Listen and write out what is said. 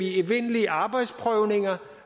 i evindelige arbejdsprøvninger